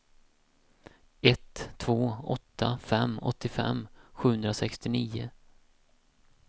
ett två åtta fem åttiofem sjuhundrasextionio